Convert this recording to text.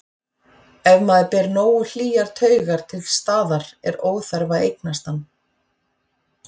Ef maður ber nógu hlýjar taugar til staðar er óþarfi að eignast hann.